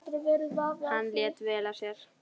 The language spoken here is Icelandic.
Hann lét vel af sér.